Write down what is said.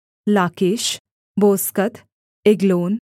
लाकीश बोस्कत एग्लोन